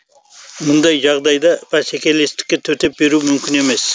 мұндай жағдайда бәсекелестікке төтеп беру мүмкін емес